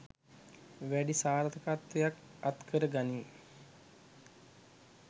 වැඩි සාර්ථකත්වයක් අත්කර ගනී.